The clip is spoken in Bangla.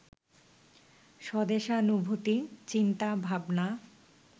স্বদেশানুভূতি, চিন্তা, ভাবনা